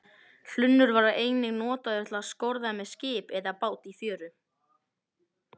Hlunnur var einnig notaður til að skorða með skip eða bát í fjöru.